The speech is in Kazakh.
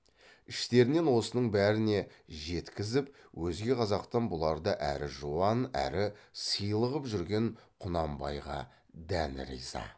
іштерінен осының бәріне жеткізіп өзге қазақтан бұларды әрі жуан әрі сыйлы қып жүрген құнанбайға дән риза